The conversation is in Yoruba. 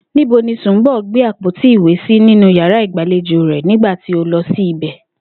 Níbo ni Sùnḿbò̩ gbé àpótí ìwé sí nínú yàrá ìgbàlejò rè̩ nígbà tí o lo̩ sí ìbè̩?